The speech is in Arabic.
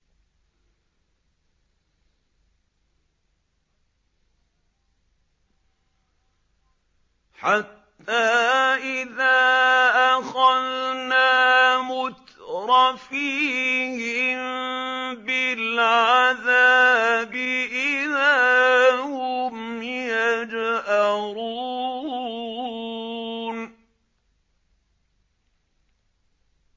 حَتَّىٰ إِذَا أَخَذْنَا مُتْرَفِيهِم بِالْعَذَابِ إِذَا هُمْ يَجْأَرُونَ